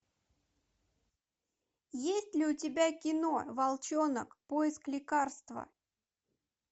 есть ли у тебя кино волчонок поиск лекарства